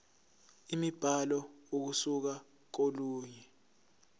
imibhalo ukusuka kolunye